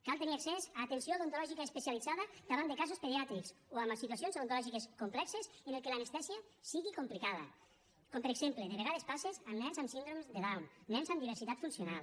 cal tenir accés a atenció odontològica especialitzada davant de casos pediàtrics o en situacions odontològiques complexes en què l’anestèsia sigui complicada com per exemple de vegades passa amb nens amb síndrome de down nens amb diversitat funcional